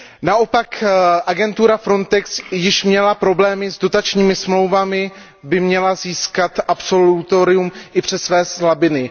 Naopak agentura Frontex, jež měla problémy s dotačními smlouvami, by měla získat absolutorium i přes své slabiny.